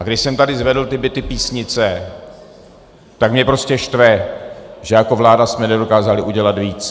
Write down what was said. A když jsem tady zvedl ty byty Písnice, tak mě prostě štve, že jako vláda jsme nedokázali udělat víc.